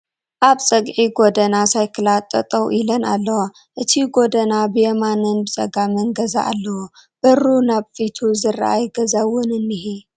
ኣብ ፀግዒ ጎደና ሳይክላት ጠጠው ኢለን ኣለዋ ፡ እቲ ጎደና ብየማንን ብፀጋምን ገዛ ኣለዎ ፡ በሩ ናብ ፊቱ ዝረኣይ ገዛ'ው'ን እንሄ ።